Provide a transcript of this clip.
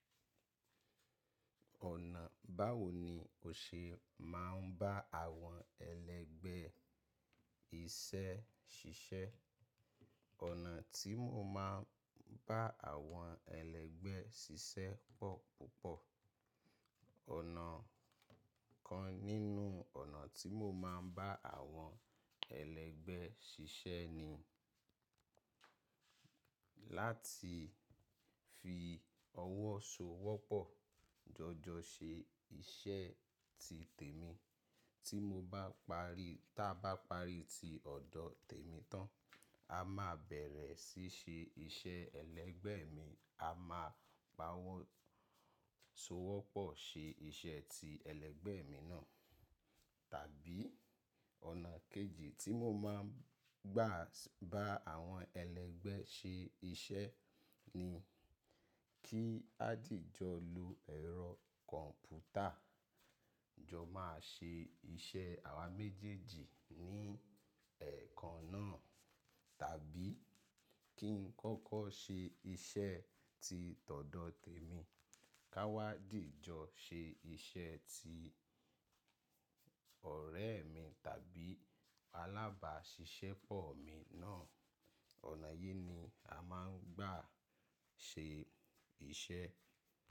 Ọ̀nà báwo ni o ṣe máa ń bá àwọn ẹlẹgbẹ́ iṣẹ́ ṣiṣẹ́? Ọ̀nà tí mo máa ń bá àwọn ẹlẹ́gbẹ́ ṣiṣẹ́ pọ̀ púpọ̀. Ọ̀nà kan nínú ọ̀nà tí mo máa ń bá àwọn ẹlẹ́gbẹ́ ṣiṣẹ́ ni láti fi ọwọ́ so wọ́pọ̀, jọjọ ṣe iṣẹ́ ti tèmi. Tí mo bá parí, ta bá parí ti ọ̀dọ̀ tèmi tán, a máa bẹ̀rẹ̀ síí ṣe iṣẹ́ ẹlẹ́gbẹ́ẹ̀ mi. A máa pa ọwọ́ so wọ́pọ̀ ṣe iṣẹ́ ti ẹlẹgbẹ́ẹ̀ mi náà. Tàbí ọ̀nà kejì tí mo máa ń gbà bá àwọn ẹlẹgbẹ́ ṣe iṣẹ́ ni kí ádìjọ lo ẹ̀rọ kọ̀m̀pútà, jọ máa ṣe iṣẹ́ àwa méjèèjì ní ẹ̀ẹ̀kan náà. Tàbí kí n kọ́kọ́ ṣe iṣẹ́ ti tọ̀dọ tèmi, ká wá dìjọ ṣe iṣẹ́ ti ọ̀rẹ́ mi tàbí alábàáṣiṣẹ́pọ̀ mi náà. Ọ̀nà yí ni a máa ń gbà ṣe iṣẹ́